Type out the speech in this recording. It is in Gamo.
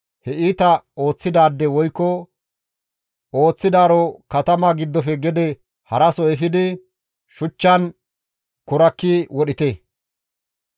he iita ooththidaade woykko ooththidaaro katama giddofe gede haraso efidi shuchchan kurakki wodhite.